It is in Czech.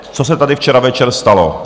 Co se tady včera večer stalo?